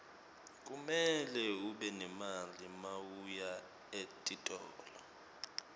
kumele ube nemali mawuya etitolo